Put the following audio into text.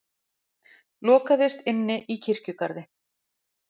Lokaðist inni í kirkjugarði